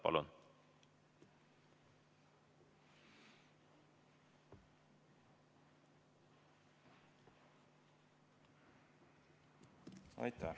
Palun!